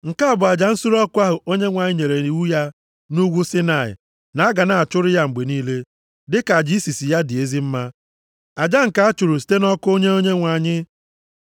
Nke a bụ aja nsure ọkụ ahụ Onyenwe anyị nyere iwu ya nʼugwu Saịnaị na a ga na-achụrụ ya mgbe niile, dịka aja isisi ya dị ezi mma, aja nke a chụrụ site nʼọkụ nye Onyenwe anyị.